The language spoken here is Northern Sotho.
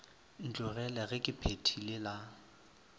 ntlogele ge ke phethile la